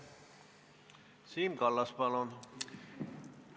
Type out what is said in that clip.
Siim Kallas, palun!